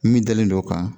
Min dalen don o kan